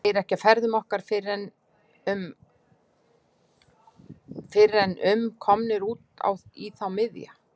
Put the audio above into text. Segir ekki af ferðum okkar fyrr en við er- um komnir út í þá miðja.